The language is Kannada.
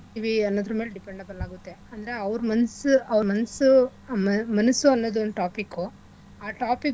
ಅನ್ನೋದ್ರ ಮೇಲ್ depend upon ಆಗುತ್ತೆ ಅಂದ್ರೆ ಅವ್ರ್ ಮನ್ಸು ಅವ್ರ್ ಮನ್ಸು ಅ ಮನಸ್ಸು ಅನ್ನೋದು ಒಂದ್ topic ಉ ಆ topic .